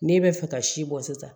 N'e bɛ fɛ ka si bɔ sisan